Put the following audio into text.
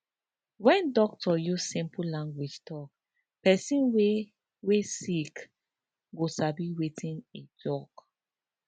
wen doctor use simple language talk pesin wey wey sick go sabi wetin e tok